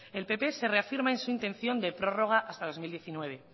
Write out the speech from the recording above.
el pp se reafirma en su intención de prórroga hasta el dos mil diecinueve